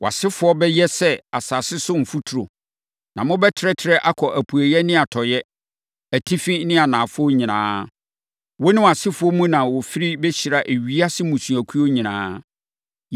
Wʼasefoɔ bɛyɛ sɛ asase so mfuturo, na mobɛtrɛtrɛ akɔ apueeɛ ne atɔeɛ, atifi ne anafoɔ nyinaa. Wo ne wʼasefoɔ mu na wɔfiri bɛhyira ewiase mmusuakuo nyinaa.